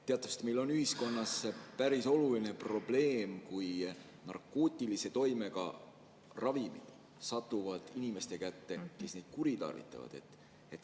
Teatavasti on meil ühiskonnas päris oluline probleem see, kui narkootilise toimega ravimid satuvad inimeste kätte, kes neid kuritarvitavad.